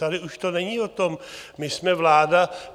Tady už to není o tom, my jsme vláda.